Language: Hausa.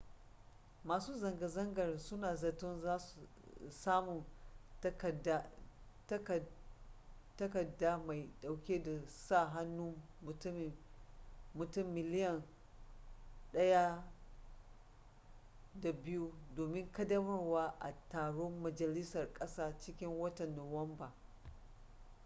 masu zanga-zangar suna zaton samun takaddama mai dauke da sa hannun mutum miliyan 1.2 domin kaddamarwa a taron majalisar kasa cikin watan nuwamba